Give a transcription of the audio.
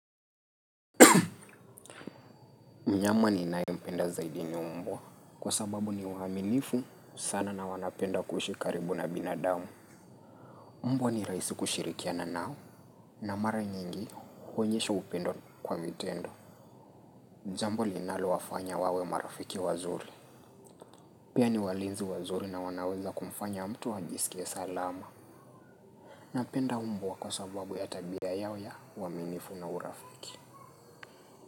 Mnyama ninae mpenda zaidi ni mbwa. Kwa sababu ni waminifu sana na wanapenda kuishi karibu na binadamu. Mbwa ni raisi kushirikia nao. Na mara nyingi huonyesha upendo kwa vitendo. Jambo linalo wafanya wawe marafiki wazuri. Pia ni walinzi wazuri na wanaweza kumfanya mtu ajisikie salama. Napenda mbwa kwa sababu ya tabia yao ya uaminifu na urafiki.